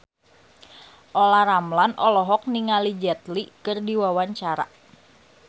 Olla Ramlan olohok ningali Jet Li keur diwawancara